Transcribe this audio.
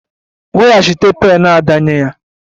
Weghachite pen Ada nye ya!